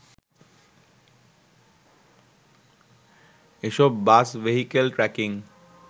এসব bus vehicle tracking